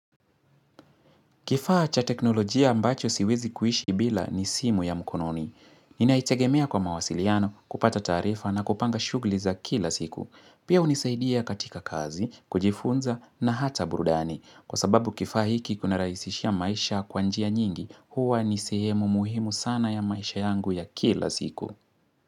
Kifaa cha teknolojia ambacho siwezi kuishi bila ni simu ya mkononi. Ninaitegemea kwa mawasiliano kupata taarifa na kupanga shughuli za kila siku. Pia hunisaidia katika kazi, kujifunza na hata burudani. Kwa sababu kifaa hiki kunarahisishia maisha kwa njia nyingi, huwa ni sehemu muhimu sana ya maisha yangu ya kila siku.